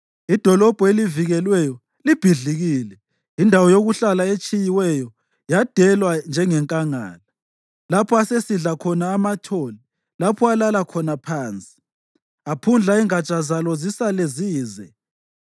Idolobho elivikelweyo libhidlikile, indawo yokuhlala etshiyiweyo, yadelwa njengenkangala; lapho asesidla khona amathole lapho alala khona phansi; aphundla ingatsha zalo zisale zize.